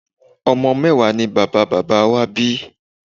Ọmọ mẹ́wàá ni bàbá bàbá wá bí